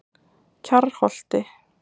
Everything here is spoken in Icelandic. Kjarrholti